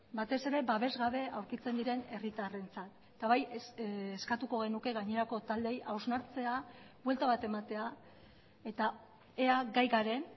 batez ere babes gabe aurkitzen diren herritarrentzat eta bai eskatuko genuke gainerako taldeei hausnartzea buelta bat ematea eta ea gai garen